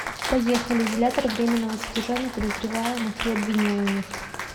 поехали изолятор временного содержания подозреваемых и обвиняемых